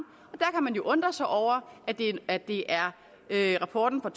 og man jo undre sig over at det er rapporten fra